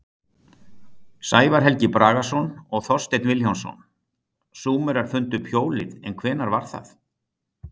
Sævar Helgi Bragason og Þorsteinn Vilhjálmsson: Súmerar fundu upp hjólið en hvenær var það?